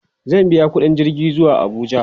zai biya ƙuɗin jirgi zuwa Abuja